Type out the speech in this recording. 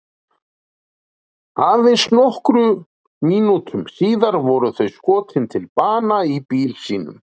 Aðeins nokkrum mínútum síðar voru þau skotin til bana í bíl sínum.